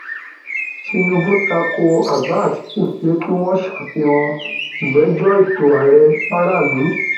tinúbù ta ko àbá àtìkù pé kí wọn ṣàfihàn ìgbẹjọ ètò ààrẹ faraàlú